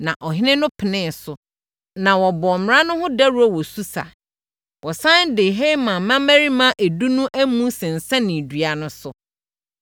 Na ɔhene no penee so, na wɔbɔɔ mmara no ho dawuro wɔ Susa. Wɔsane de Haman mmammarima edu no amu sensɛnee dua no so.